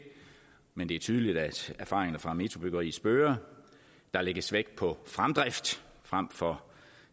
men det er tydeligt at erfaringerne fra metrobyggeriet spøger der lægges vægt på fremdrift frem for